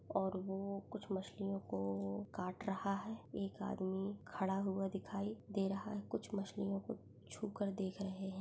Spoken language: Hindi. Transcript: और वो कुछ मछलियों को काट रहा है एक आदमी खड़ा हुआ दिखाई दे रहा है कुछ मछलियों को छू कर देख रहे है।